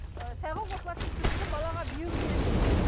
ыыы шайға қосылатын сүтті балаға беру керек деген